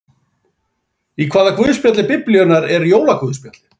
Í hvaða guðspjalli Biblíunnar er jólaguðspjallið?